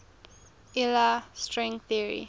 iia string theory